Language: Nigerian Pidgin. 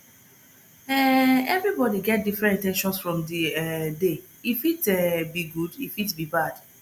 um everybody get different in ten tions from di um day e fit um be good e fit be bad